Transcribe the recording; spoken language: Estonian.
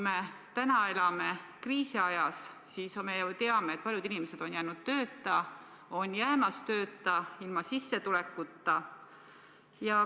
Me täna elame kriisiajas, me ju teame, et paljud inimesed on jäänud tööta või on jäämas tööta, nad on ilma sissetulekuta.